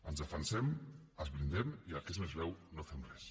ens defensem ens blindem i el que és més greu no fem res